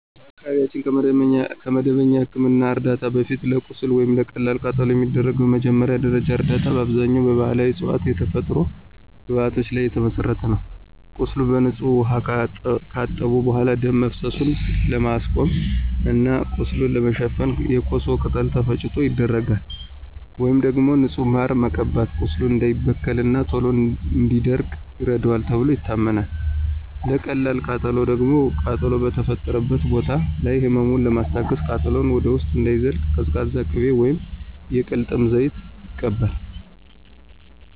በአካባቢያችን ከመደበኛ የሕክምና ዕርዳታ በፊት፣ ለቁስል ወይም ለቀላል ቃጠሎ የሚደረገው መጀመሪያ ደረጃ እርዳታ በአብዛኛው በባሕላዊ ዕፅዋትና የተፈጥሮ ግብዓቶች ላይ የተመሠረተ ነው። ቁስሉን በንጹህ ውኃ ካጠቡ በኋላ፣ ደም መፍሰሱን ለማስቆም እና ቁስሉን ለመሸፈን የኮሶ ቅጠል ተፈጭቶ ይደረጋል። ወይም ደግሞ ንጹህ ማርን መቀባት ቁስሉ እንዳይበከልና ቶሎ እንዲደርቅ ይረዳዋል ተብሎ ይታመናል። ለቀላል ቃጠሎ ደግሞ ቃጠሎው በተፈጠረበት ቦታ ላይ ህመሙን ለማስታገስና ቃጠሎው ወደ ውስጥ እንዳይዘልቅ ቀዝቃዛ ቅቤ ወይም የቅልጥም ዘይት ይቀባል።